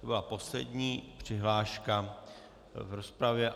To byla poslední přihláška v rozpravě.